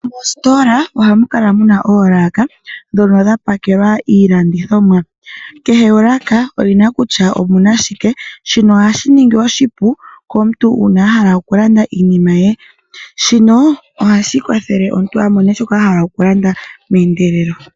Moositola ohamu kala muna oolaaka mono mwalongelwa iilandithomwa. Kehe olaaka omuna kutya omuna shike shino ohashi ningi oshipu komuntu uuna ahala okulanda iinima ye, ohashi kwathele omuntu a mone shoka a hala okulanda meendelelo.